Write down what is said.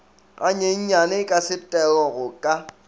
ganyenyane ka setero go ka